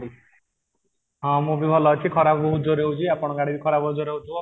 ହଁ, ମୁଁ ବି ଭଲ ଅଛି, ଖରା ବହୁତ ଜୋର ହଉଚି ଆପଣ ଙ୍କ ଆଡେ ଖରା ବହୁତ ଜୋର ରେ ହଉଥିବ?